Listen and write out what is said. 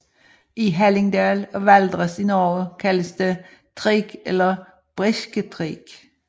I Hallingdal og Valdres i Norge kaldes det treak eller brisketreak